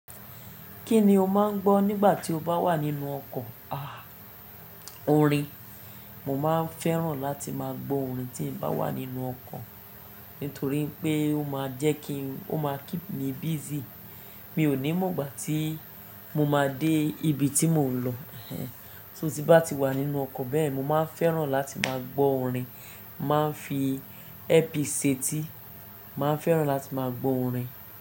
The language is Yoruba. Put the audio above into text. Kí ni o máà ń gbọ́ nígbà tí o bá wà nínú ọkọ̀? Aah orin, mo máa n fẹ́ràn láti máa gbọ́ orin tí n bá wà nínú ọkọ̀ nítorí pé ó máa jẹ́ kí n, ó máa keep me busy. Mi ò ní mọ̀ ìgbà tí mo máa dé ibi tí mò ń lọ. Só ti n bá ti wà nínú ọkọ̀ bẹ́ẹ̀, mo máa n fẹ́ràn láti máa gbọ́ orin. Má n fi ẹ́ẹ́piìs sétí, máa n fẹ́ràn láti máa gbọ́ orin.